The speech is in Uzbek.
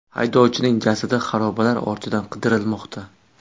Haydovchining jasadi xarobalar ostidan qidirilmoqda.